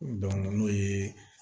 n'o ye